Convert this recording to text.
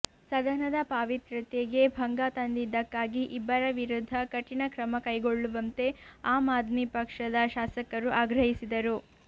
ಸದನದ ಪಾವಿತ್ರ್ಯತೆಗೆ ಭಂಗ ತಂದಿದ್ದಕ್ಕಾಗಿ ಇಬ್ಬರ ವಿರುದ್ಧ ಕಠಿಣ ಕ್ರಮಕೈಗೊಳ್ಳುವಂತೆ ಆಮ್ ಆದ್ಮಿ ಪಕ್ಷದ ಶಾಸಕರು ಆಗ್ರಹಿಸಿದರು